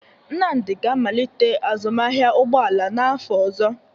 Nnamdi ga-amalite azụmahịa ụgbọ ala n'afọ ọzọ.